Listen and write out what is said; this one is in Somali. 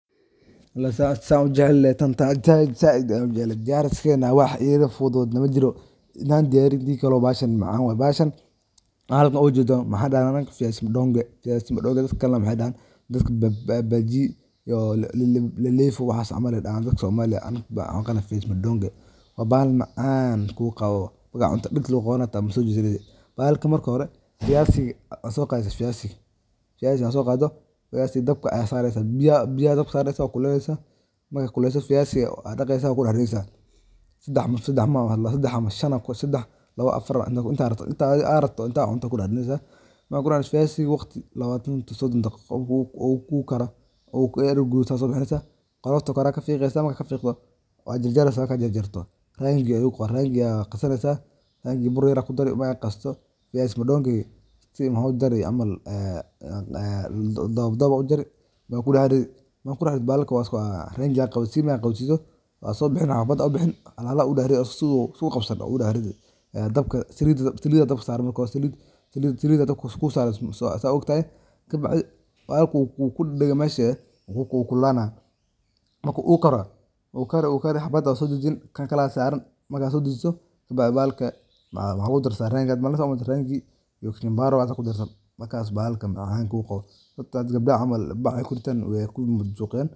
Alaa saan ujecelnehe taan saaid aya ujecelnehe taan diyaariskeeda wax iga fududna majiiro hada diyaariyo iyo hadikale bahashan macan waye bahashan halkan ugeedan waxa dahnaa anaga Vyazi mndoge dadka kale waxey dahaan bajiiyo iyo leflefo waxas camal ayey dahaan daadka somalida anaga waxa unaqaana Vyazi mndoge waa bahal macamka uqaawo marka cuntid daggta hadi lagu qawaanayo maso jeesaneysid bahalka marka hore vyazi ka mrka so qaado Vyazi dabka sareysa biya dabkan sareysa wa kulaleyneysa marka kulaleyso Vyazi daqeysa wa dax rideeysa sedah lawo shan afaar intaa rabto aya kuriideysa intaa adhi aa rabto intaa cunto aya ku dax rideeysa marka kudax rido Vyazi lawatan To sodaan daqeqo uu ku karo iyadho gududate aya sobixineysa qolofta kore kafiiqeysa wa jarjareysa marka jarjarto Rangi aya qasaneysa marka qasaato rangi ga boor yar kudarayi marka qasto Vyazi mndogi sidha waxa ujarjari dadhab dadhab aya ujarjari wa kudax ridi marka kudax rido bahalka Rangi qawasini marka qawasiso waso bixini habad habad aya sobixin halhal aya ugu dex ridi marka su iskuqabsanin aya ugu dax ridi dabka salida dabka sarani marka hore salida dabka sarani saa utahay kabacdi bahalka wu kudagdage mesha wu kulalana marka ukaro wu kari habad habad aya uso dajiini kan kala saran marka so daagiso kadadi bahalka waxa lagu darsada Rangi iyo kachubari markas bahalka mcanka uu qawo hada gabdaha camal baac aye ku ritaan wey majujiqiyan